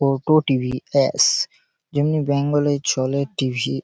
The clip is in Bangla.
Auto T. ভি. অ্যাশ-শ যেমনি বেঙ্গল -এ চলে ট.ভি ।